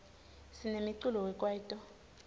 sinemiculo we kwaito